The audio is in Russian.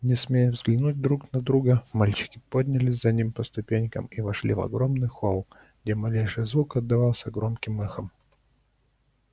не смея взглянуть друг на друга мальчики поднялись за ним по ступенькам и вошли в огромный холл где малейший звук отдавался громким эхом